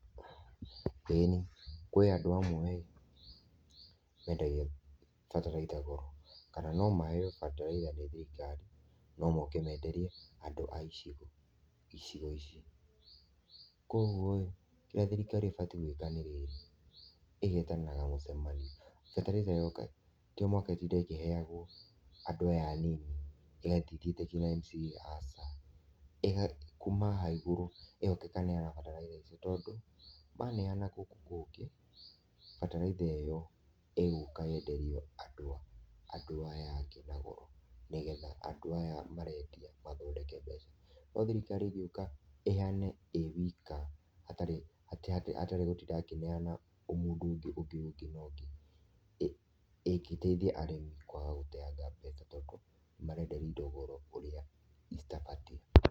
Ĩnĩ, kwĩ andũ amwe mendagia bataraitha goro kana no maheo bataraitha nĩ thirikari no moke menderie andu a icigo, icigo icio. KWa ũgũo kĩria thirikari ĩbatie gwĩka nĩ rĩrĩ, ĩgetanagĩra mucemanio bataraitha yoka to mũhaka ĩtinde ĩkiheyagwo andũ aya anĩnĩ ĩgathĩ ĩthĩte ngina MCA aca, kũma haha ĩgũrũ ĩgoka ĩkaneana bataraitha ĩcĩo tondũ maneana gũkũ kũngĩ bataraitha ĩyo ĩgũka yenderio andũ, andũ aya angĩ na goro nĩgetha andũ aya marendĩa mathondeke mbeca, no thirikarĩ ĩngĩuka ĩheane ĩwika hatarĩ hatarĩ gũtinda akĩneana omũndũ ũngĩ ũngĩ na ũngĩ, ĩngĩteithia arĩmĩ kwaga gũteanga mbeca tondũ marenderio indogoro ũrĩa citabatie.